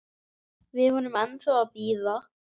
Við erum ennþá að bíða.